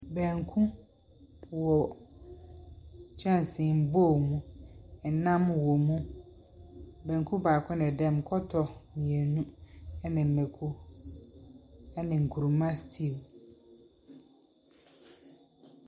Banku wɔ kyɛnsee mu bowl mu. Ɛman wɔ mu. Banku baako na ɛda mu, kɔtɔ mmienu, ɛna mako, ɛne nkuruma stew.